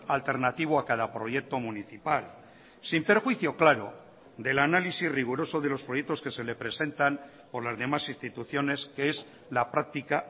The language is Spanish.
alternativo a cada proyecto municipal sin perjuicio claro del análisis riguroso de los proyectos que se le presentan por las demás instituciones que es la práctica